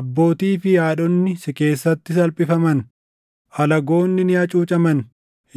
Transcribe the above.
Abbootii fi haadhonni si keessatti salphifaman; alagoonni ni hacuucaman;